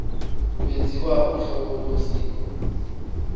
kwenziwa uhlolo losiko